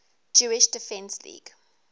jewish defense league